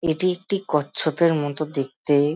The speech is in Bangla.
এটি একটি কচ্ছপের মতো দেখতে--